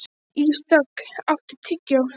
Ísdögg, áttu tyggjó?